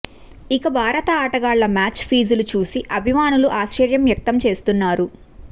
ఇక భారత ఆటగాళ్ల మ్యాచ్ ఫీజులు చూసి అభిమానులు ఆశ్చర్యం వ్యక్తం చేస్తున్నారు